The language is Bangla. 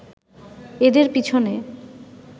এদের পিছনে